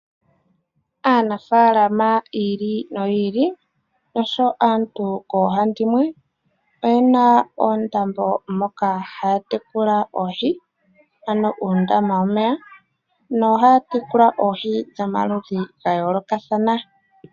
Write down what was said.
Aanafalama yi ili noyi ili oshowo kaantu koohandimwe oye na oondambo moka haya tekula oohi, ano uundama womeya no haya tekula oohi dhomaludhi ga yoolokathana.